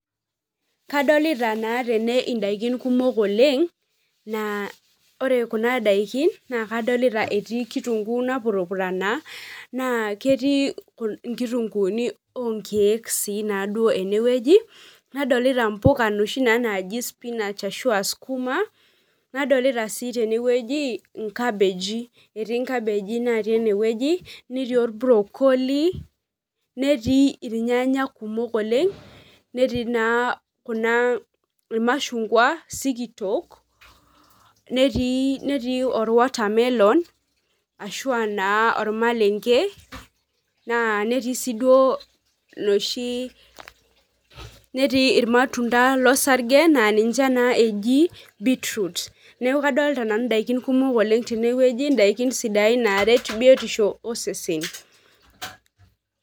Kadolita na tene ndakinikumok oleng na ore kuna tokitin naa kadolta etii kitunguu napurupurana, nakametii nkitungunii onkiek si duo tenewueji, nadolta mpuka noshi naji spinach ashu askuma, nadolta si tenewueji nkabeji, eti nkabeji natii enewueji netii orbrokoli netii irnyanya kumok oleng netii na kuna irmashungwa sikitok netii orwatermelonashu a naa ormalenge netiu si duo noshi neti irmatunda losarge a ninche na eji bitrout neaku kadolta nanu ndakini kumok tenewueji ndakinisidain naret biotisho osesen.